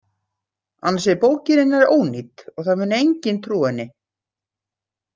Annars er bókin hennar ónýt og það mun enginn trúa henni.